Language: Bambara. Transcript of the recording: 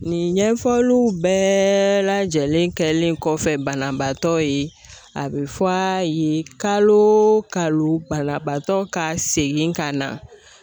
Nin ɲɛfɔliw bɛɛ lajɛlen kɛlen kɔfɛ banabaatɔ ye, a bɛ fɔ ye kalo kalo banabaatɔ ka segin ka na.